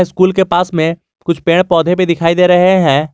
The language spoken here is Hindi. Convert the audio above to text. कुल के पास में कुछ पेड़ पौधे भी दिखाई दे रहे हैं।